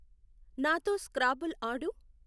నాతో స్క్రాబుల్ ఆడు.